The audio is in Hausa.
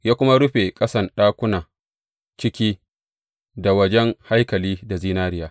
Ya kuma rufe ƙasan ɗakuna ciki da wajen haikali da zinariya.